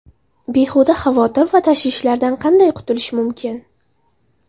Behuda xavotir va tashvishlardan qanday qutulish mumkin?.